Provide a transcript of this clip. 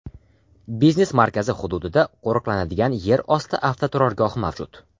Biznes markazi hududida qo‘riqlanadigan yer osti avtoturargohi mavjud.